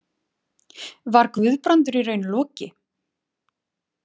Var Guðbrandur í raun Loki?